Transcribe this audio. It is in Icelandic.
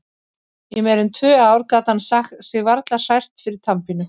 Í meira en tvö ár gat hann sig varla hrært fyrir tannpínu.